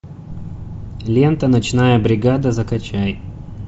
лента ночная бригада закачай